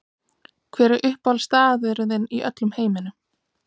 Hver er uppáhaldsstaðurinn þinn í öllum heiminum?